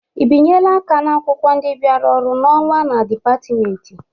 Ị binyela aka n'akwụkwọ ndị bịara ọrụ n'ọnwa na dịpatmenti?